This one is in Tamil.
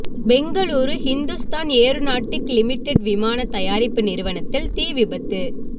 பெங்களூரு ஹிந்துஸ்தான் ஏரோநாட்டிக் லிமிடெட் விமான தயாரிப்பு நிறுவனத்தில் தீ விபத்து